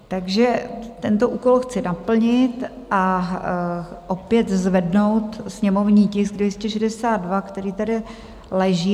Takže tento úkol chci naplnit a opět zvednout sněmovní tisk 262, který tady leží.